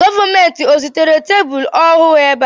Gọọmenti o zitere tebụl ọhụụ ébé a?